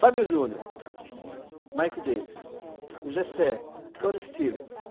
Fábio Júnior, uhum, Mike Davis, o Gessé, Tony Stevens.